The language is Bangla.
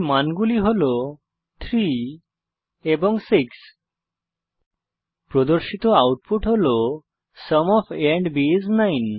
মানগুলি হল 3 এবং 6 প্রদর্শিত আউটপুট হল sum of a and b is 9